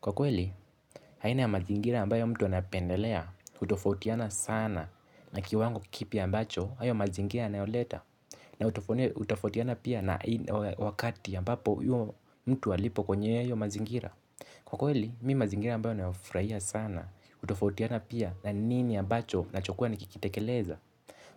Kwa kweli, haina ya mazingira ambayo mtu anapendelea, hutofautiana sana na kiwango kipya ambacho, hayo mazingira anayoleta. Na hutofautiana pia na wakati ambapo uyo mtu alipo kwenye iyo mazingira. Kwa kweli, mi mazingira ambayo nayofurahia sana, utofautiana pia na nini ambacho nachokuwa na kikitekeleza.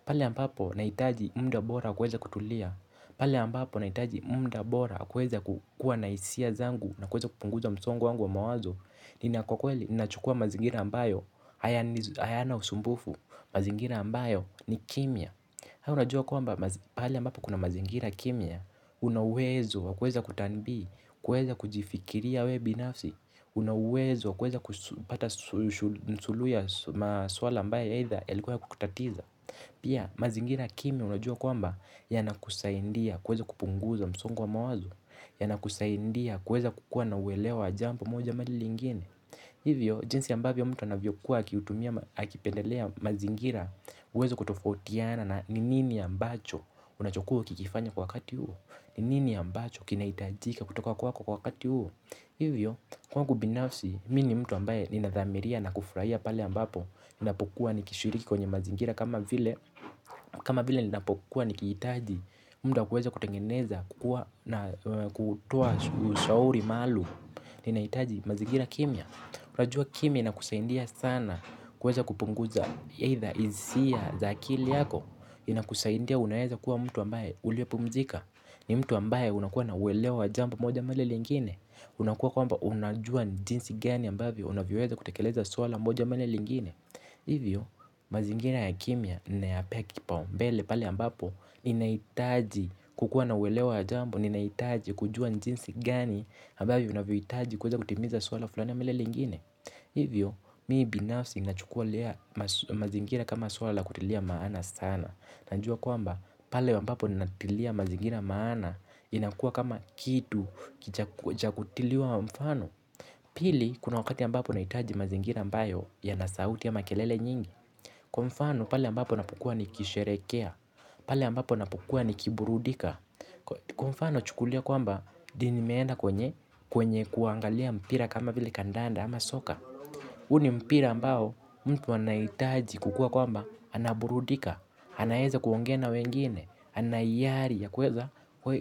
Pale ambapo, naitaji munda bora kuweza kutulia. Pale ambapo, naitaji munda bora kuweza kukua na hisia zangu na kuweza kupunguza msongo wangu wa mawazo. Nina kwa kweli, ninachukua mazingira ambayo, hayana usumbufu, mazingira ambayo ni kimya haya unajua kwamba, pahali ambapo kuna mazingira kimya, unauwezo, kueza kutambi, kueza kujifikiria we binafsi unauwezo, kueza kupata nsulu ya maswala ambaye heitha, yalikuwa yakukutatiza. Pia, mazingira kimya unajua kwamba, yanakusaindia, kuweza kupunguza msungu wa mawazo yanakusaindia kuweza kukua na uwelewa wa jambo moja ama lile lingine. Hivyo, jinsi ambavyo mtu anavyo kuwa akiutumia akipendelea mazingira uwezi kutofautiana na ni nini ambacho unachokuwa ukikifanya kwa wakati huo. Ni nini ambacho kinaitajika kutoka kwako kwa wakati huo. Hivyo, kwangu binafsi, mi ni mtu ambaye ninathamiria na kufurahia pale ambapo ninapokuwa nikishiriki kwenye mazingira kama vile kama vile ninapokuwa nikihitaji muda wa kuweza kutengeneza kukua na kutoa ushauri maalum. Ninaitaji mazigira kimya. Unajua kimya inakusaindia sana kuweza kupunguza Either isia za akili yako. Inakusaindia unaeza kuwa mtu ambaye uliopumzika. Ni mtu ambaye unakuwa na uelewa jambo moja ama lile lingine. Unakuwa kwamba unajua jinsi gani ambavyo unavyoweza kutekeleza swala moja ama lile lingine. Hivyo mazingira ya kimya ninayapea kipaumbele pale ambapo ninaitaji kukuwa na uelewa wa jambo ninaitaji kujua njinsi gani abavyo unavyo itaji kuweza kutimiza swala fulani ama lile lingine. Hivyo mii binafsi nachukualea mazingira kama swala la kutilia maana sana najua kwamba pale ambapo ninatilia mazingira maana inakua kama kitu chakutiliwa mfano. Pili kuna wakati ambapo naitaji mazingira ambayo yanasauti ama kelele nyingi. Kwa mfano pale ambapo napokua nikisherekea. Pale ambapo napokua ni kiburudika. Kwa mfano chukulia kwamba dio nimeenda kwenye kwenye kuangalia mpira kama vile kandanda ama soka. Huu mpira ambao mtu anaitaji kukua kwamba anaburudika, anaeza kuongea wengine, anaiyari ya kuweza,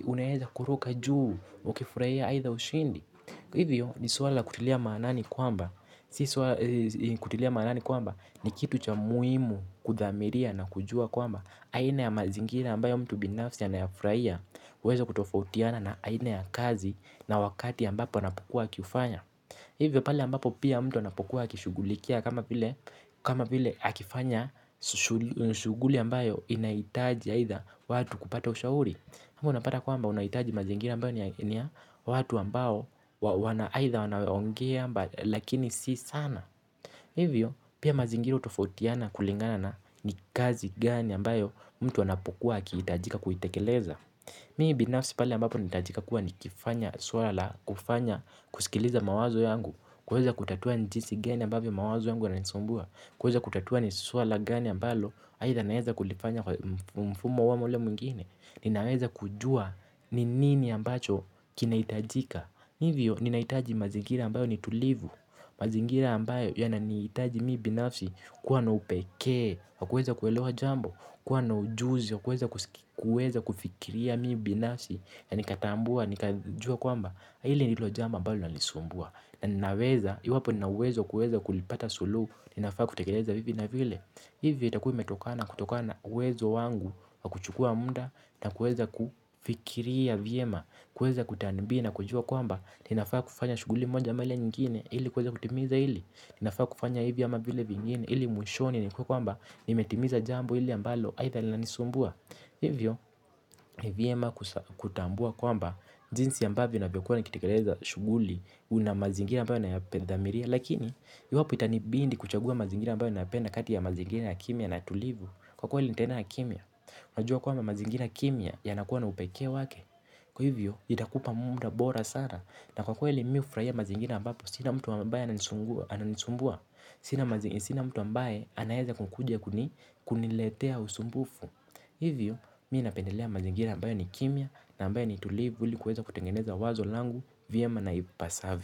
unaeza kuruka juu, ukifurahia aitha ushindi. Hivyo ni swala la kutilia maanani kwamba ni kitu cha muimu kuthamiria na kujua kwamba aina ya mazingira ambayo mtu binafsi anayafuraia uweza kutofautiana na aina ya kazi na wakati ambapo anapokua akifanya. Hivyo pale ambapo pia mtu anapokua akishugulikia kama vile akifanya shuguli ambayo inaitaji haitha watu kupata ushauri ama unapata kwamba unahitaji mazingira ambayo ni ya watu ambayo wana aitha wanaongea lakini si sana. Hivyo pia mazingira hutofautiana kulingana na ni kazi gani ambayo mtu anapokuwa akihitajika kuitekeleza. Mii binafsi pale ambapo nitajika kuwa ni kifanya suara la kufanya kusikiliza mawazo yangu kuweza kutatua njisi gani ambavyo mawazo yangu yananisumbua kuweza kutatua ni swala gani ambayo aitha naeza kulifanya kwa mfumo huu ama ule mwingine. Ninaweza kujua ni nini ambacho kinaitajika. Hivyo ninaitaji mazingira ambayo ni tulivu. Mazingira ambayo yananiitaji mii binafsi kuwa na upekee wa kuweza kuelewa jambo kuwa na ujuzi wa kuweza kufikiria mii binafsi na nikatambua, nikajua kwamba hili nilo jambo ambalo linanisumbua na ninaweza. Iwapo ninawezo wa kuweza kulipata suluhu inafaa kutekeleza hivi na vile. Ivi itakua imetokana kutokana na uwezo wangu wa kuchukua munda na kueza kufikiria vyema kueza kutambia na kujua kwamba inafaa kufanya shuguli moja ama ile nyingine ili kueza kutimiza hili. Linafaa kufanya hivi ama vile vingine ili mwishoni nikuwe kwamba nimetimiza jambo hili ambalo aitha linanisumbua. Hivyo ni vyema kutambua kwamba jinsi ambavyo navyokuwa nikitikeleza shuguli una mazingira ambayo nayapendamiria. Lakini iwapo itanibindi kuchagua mazingira ambayo napenda kati ya mazingira ya kimya na tulivu kwa kweli nitaenda na kimya. Unajua kwamba mazingira kimya yanakuwa na upekee wake. Kwa hivyo, itakupa muda bora sara. Na kwa kweli mi hufurahia mazingina ambapo, sina mtu ambaye ananisumbua ananisumbua. Sina mtu ambaye anaeza kukuja kuni kuniletea usumbufu. Hivyo, mi napendelea mazingira ambayo ni kimya na ambaye ni tulivu ili kuweza kutengeneza wazo langu vyema naipasavyo.